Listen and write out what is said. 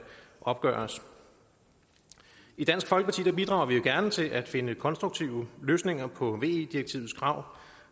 opgøres i dansk folkeparti bidrager vi gerne til at finde konstruktive løsninger på ve direktivets krav